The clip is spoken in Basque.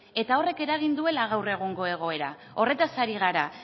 eta horrek eragin duela gaur egungo egoerak horretaz ari gara